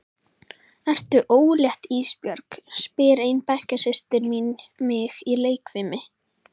Ertu ólétt Ísbjörg, spyr ein bekkjarsystir mín mig í leikfimi.